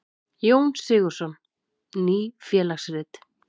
Jón Sigurðsson: Ný félagsrit.